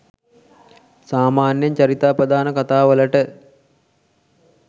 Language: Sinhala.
සාමාන්‍යයෙන් චරිතාපදාන කතා වලට